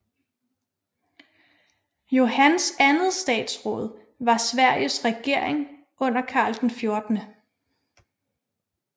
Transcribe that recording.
Johans andet statsråd var Sveriges regering under Karl 14